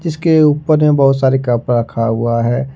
इसके ऊपर में बहुत सारे कप रखा हुआ है।